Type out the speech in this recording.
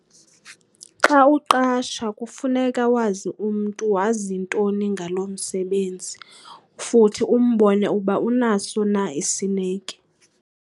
Xa uqasha kufuneka wazi umntu wazi ntoni ngalo msebenzi futhi umbone uba unaso na isineke.